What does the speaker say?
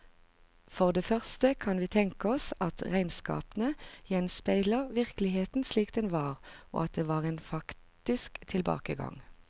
For det første kan vi tenke oss at regnskapene gjenspeilte virkeligheten slik den var, og at det var en faktisk tilbakegang.